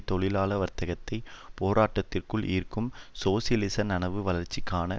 தொழிலாள வர்த்தகத்தின் போராட்டத்திற்குள் ஈர்க்கும் சோசியலிச நனவு வளர்ச்சிக்கான